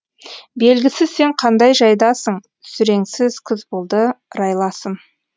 белгісіз сен қандай жайдасың сүреңсіз күз болды райласым